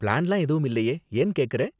பிளான்லாம் எதுவும் இல்லையே, ஏன் கேக்கற?